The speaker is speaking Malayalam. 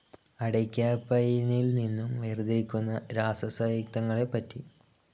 അടയ്ക്കാപ്പയിനിൽ നിന്നും വേർതിരിക്കുന്ന രാസസയുക്തങ്ങളെപ്പറ്റി.